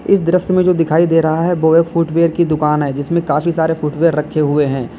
इस दृश्य में जो दिखाई दे रहा है वो है फुटवियर की दुकान है जिसमें काफी सारे फुटवियर रखे हुए हैं।